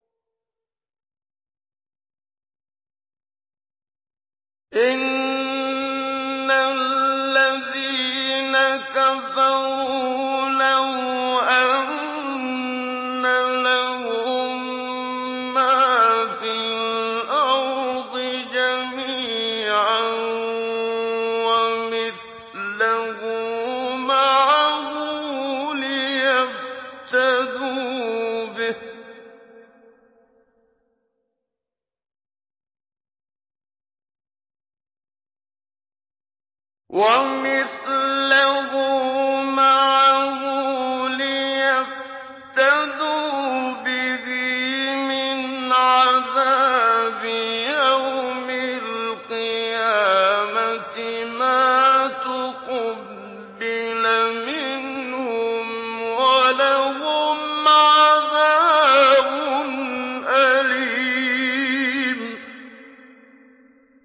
إِنَّ الَّذِينَ كَفَرُوا لَوْ أَنَّ لَهُم مَّا فِي الْأَرْضِ جَمِيعًا وَمِثْلَهُ مَعَهُ لِيَفْتَدُوا بِهِ مِنْ عَذَابِ يَوْمِ الْقِيَامَةِ مَا تُقُبِّلَ مِنْهُمْ ۖ وَلَهُمْ عَذَابٌ أَلِيمٌ